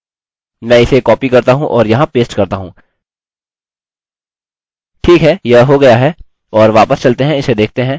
ठीक है यह हो गया है और वापस चलते हैं और इसे देखते हैं